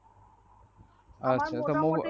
আচ্ছা তো।